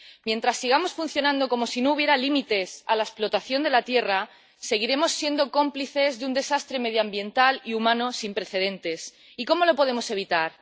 Mientras sigamos funcionando como si no hubiera límites a la explotación de la tierra, seguiremos siendo cómplices de un desastre medioambiental y humano sin precedentes. ¿Cómo lo podemos evitar?